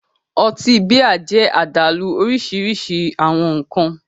Ọtí bíà jẹ́ àdálù òrìṣirìṣi awọn nkan